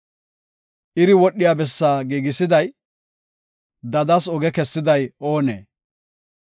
Iri wodhiya bessaa giigisiday, dadas oge kessiday oonee?